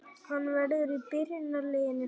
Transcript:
Hann verður í byrjunarliðinu